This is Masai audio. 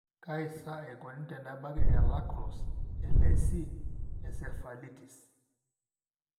kaji sa eikoni tenebaki e La crosse (LAC) encephalitis?